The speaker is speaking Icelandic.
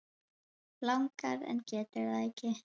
Langar en getur það ekki.